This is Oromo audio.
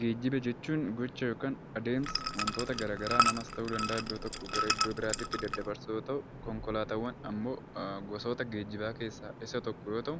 Geejjiba jechuun gocha yookaan adeemsa wantoota garaagaraa, namas ta'uu danda'a, iddoo tokkoo biraatitti daddabarsuu yoo ta'u, konkolaataawwan ammoo gosoota geejjibaa keessaa isa tokko yoo ta'u,